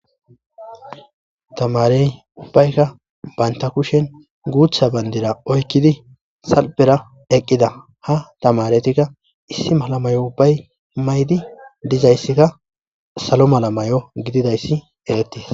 tamarey ubbaykka baynta kushen guutha bandira oykkidi salpera eqqida ha tamaretikka issi malamayo ubbay maydi dizayssikka salo malamayo gididayssi eretii